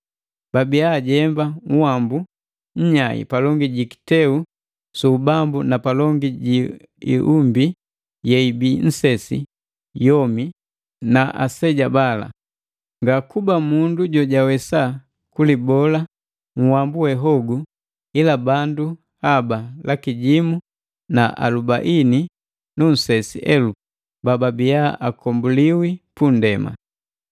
Babiya bajemba nhwambu nnyai palongi ji kiteu su ubambu na palongi ji iumbi yeibii nsesi yomi na aseja bala. Ngakuba mundu jojawesa kulibola nhwambu we hogu ila bandu haba laki jimu alubaini nu nsesi elupu bababiya akombuliwi pundema.